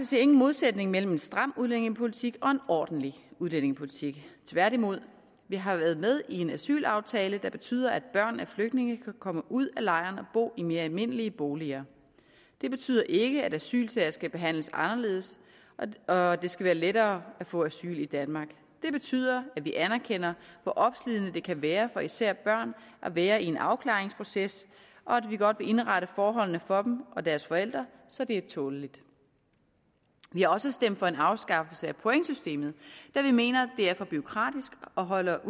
ser ingen modsætning mellem en stram udlændingepolitik og en ordentlig udlændingepolitik tværtimod vi har været med i en asylaftale der betyder at børn af flygtninge kan komme ud af lejrene og bo i mere almindelige boliger det betyder ikke at asylsager skal behandles anderledes og at det skal være lettere at få asyl i danmark det betyder at vi anerkender hvor opslidende det kan være for især børn at være i en afklaringsproces og at vi godt vil indrette forholdene for dem og deres forældre så det er tåleligt vi har også stemt for en afskaffelse af pointsystemet da vi mener at det er for bureaukratisk og holder